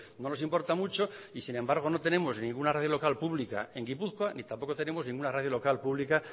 no nos importa mucho y sin embargo no tenemos ninguna radio local pública en gipuzkoa ni tampoco tenemos ninguna radio local pública